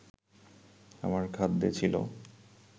আমার খাদ্যে ছিল